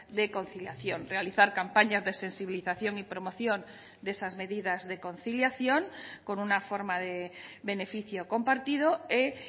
de conciliación realizar campañas de sensibilización y promoción de esas medidas de conciliación con una forma de beneficio compartido e